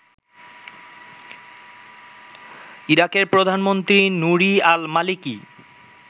ইরাকের প্রধানমন্ত্রী Nouri al মালিকি